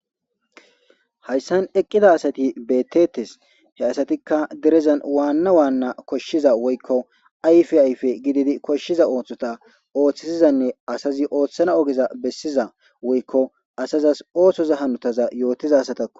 Hayssan eqqida asati beettetes he asatikka derezan waanna waanna koshshiza woykko ayfe ayfe gididi koshshiza ooththota ooththisizanne asazi ooththana ogeza bessiza woykko asazas oosoza hanotaza yootiza satakko